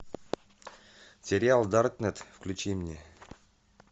сериал даркнет включи мне